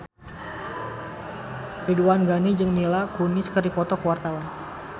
Ridwan Ghani jeung Mila Kunis keur dipoto ku wartawan